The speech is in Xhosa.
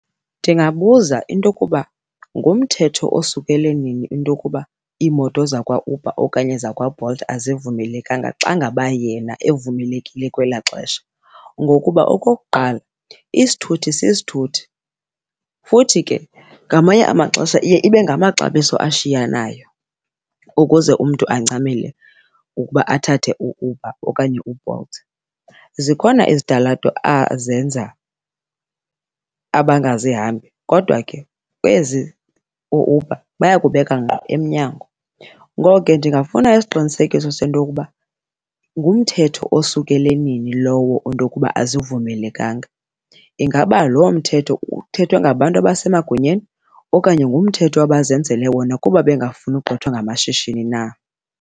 Ndingabuza into yokuba ngumthetho osukele nini into yokuba iimoto zakwaUber okanye zakwaBolt azivumelekanga xa ngaba yena evumelekile kwelaa xesha. Ngokuba okokuqala, isithuthi sisithuthi futhi ke ngamanye amaxesha iye ibe ngamaxabiso ashiyanayo ukuze umntu ancamele ukuba athathe uUber okanye uBolt. Zikhona izitalato azenza abangazihambi kodwa ke ezi ooUber bayakubeka ngqo emnyango, ngoko ke ndingafuna isiqinisekiso sento yokuba ngumthetho osukele nini lowo into yokuba azivumelekanga. Ingaba loo mthetho uthethwa ngabantu abasemagunyeni okanye ngumthetho abazenzele wona kuba bengafuni ugqithwa ngamashishini na?